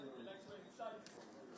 Yəni bilməlisən ki, sən oyunçusan.